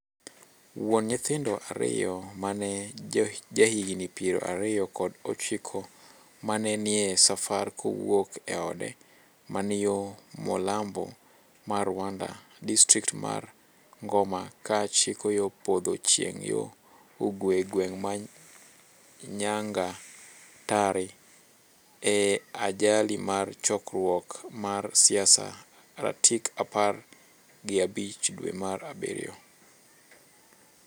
wuon nyithindo ariyo me en jahigni piero ariyo kod ochiko ma ne nie safar kowuok e ode. ma ni yo molambo mar Rwanda. distrikt mar Ngoma ko chiko yo podho chieng' yo ugwe gweng' ma Nyangatare. e ajali mar chokruok mar siasa ratik apar gi abich dwe mar abirio